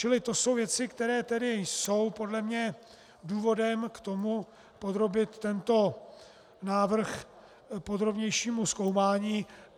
Čili to jsou věci, které tedy jsou podle mě důvodem k tomu podrobit tento návrh podrobnějšímu zkoumání.